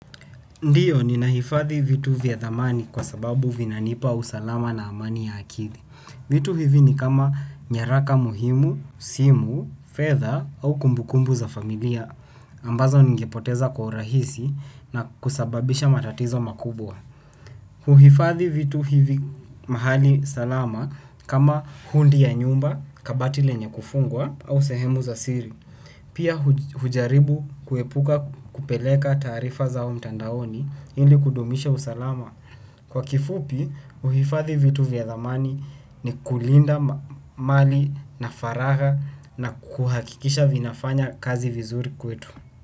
Ndiyo, ninahifadhi vitu vya dhamani kwa sababu vinanipa usalama na amani ya akidi. Vitu hivi ni kama nyaraka muhimu, simu, fedha au kumbukumbu za familia ambazo ningepoteza kwa urahisi na kusababisha matatizo makubwa. Vitu hivi ni kama nyaraka muhimu, simu, fedha au kumbukumbu za familia ambazo ningepoteza kwa urahisi na kusababisha matatizo makubwa. Pia hujaribu kuepuka kupeleka taarifa zao mtandaoni ili kudumisha usalama. Kwa kifupi, uhifadhi vitu vya dhamani ni kulinda mali na faragha na kuhakikisha vinafanya kazi vizuri kwetu.